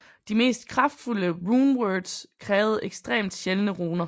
De mest kraftfulde runewords krævede ekstremt sjældne runer